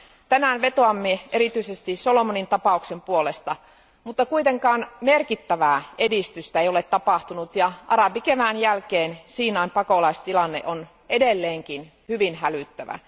Tänään vetoamme erityisesti Solomonin tapauksen puolesta, mutta kuitenkaan merkittävää edistystä ei ole tapahtunut ja arabikevään jälkeen Siinain pakolaistilanne on edelleenkin hyvin hälyttävä.